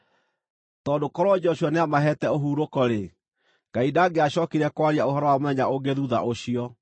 Tondũ korwo Joshua nĩamaheete ũhurũko-rĩ, Ngai ndangĩacookire kwaria ũhoro wa mũthenya ũngĩ thuutha ũcio.